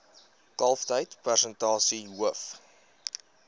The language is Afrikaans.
kalftyd persentasie hoof